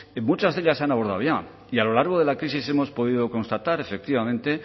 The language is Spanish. muchas de ellas se han abordado y a lo largo de la crisis hemos podido constatar efectivamente